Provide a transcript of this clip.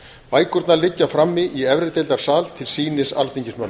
bækurnar liggja frammi í efrideildarsal til sýnis alþingismönnum